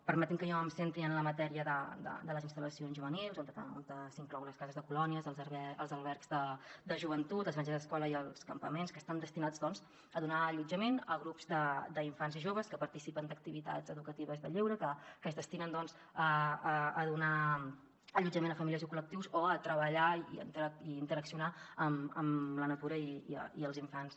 permeti’m que jo em centri en la matèria de les instal·lacions juvenils on s’inclouen les cases de colònies els albergs de joventut les granges escola i els campaments que estan destinats a donar allotjament a grups d’infants i joves que participen d’activitats educatives de lleure que es destinen a donar allotjament a famílies i a col·lectius o a treballar i a interaccionar amb la natura i els infants